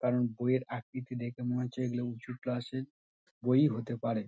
এবং বইয়ের আকৃতি দেখে মনে হচ্ছে। এইগুলো উঁচু ক্লাস - এর বই ই হতে পারে ।